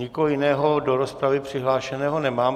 Nikoho jiného do rozpravy přihlášeného nemám.